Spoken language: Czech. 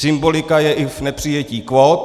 Symbolika je i v nepřijetí kvót.